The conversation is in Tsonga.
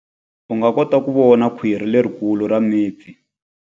U nga kota ku vona khwiri lerikulu ra mipfi.